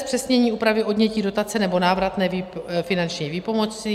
Zpřesnění úpravy odnětí dotace nebo návratné finanční výpomoci.